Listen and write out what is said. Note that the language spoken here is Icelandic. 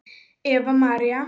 Eva og María.